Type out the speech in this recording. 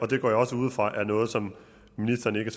det går jeg også ud fra er noget som ministeren ikke